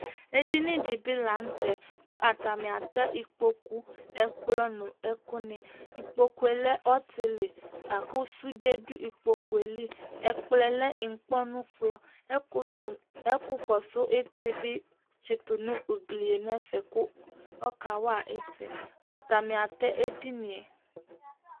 edini di bi lantɛ kò atani atɛ ikpoku ɛkplɔ no ɛkò ni ikpoku yɛ lɛ ɔtili la kò sude do ikpoku yɛ li ɛkplɔ yɛ lɛ inkpɔnu kplɔ ɛkò to ɛkò kɔsu iti bi tsito no ugli yɛ n'ɛfɛ kò ɔka wa iti atani atɛ edini yɛ